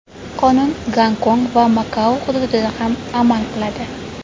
Qonun Gongkong va Makao hududida ham amal qiladi.